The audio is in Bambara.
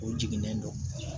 O jiginnen don